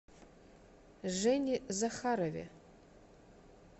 жене захарове